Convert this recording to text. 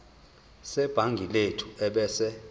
sebhangi lethu ebese